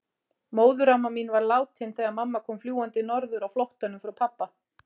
Móðuramma mín var látin þegar mamma kom fljúgandi norður á flóttanum frá pabba.